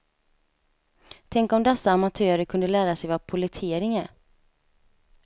Tänk om dessa amatörer kunde lära sig vad pollettering är.